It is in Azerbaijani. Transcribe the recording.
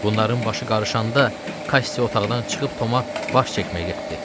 Bunların başı qarışanda Kassi otaqdan çıxıb Tomu baş çəkməyə getdi.